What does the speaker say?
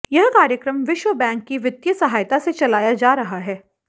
यह कार्यक्रम विश्वबैंक की वित्तीय सहायता से चलाया जा रहा है